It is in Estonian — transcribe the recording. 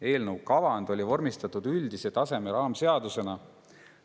Eelnõu kavand oli vormistatud üldise taseme raamseadusena.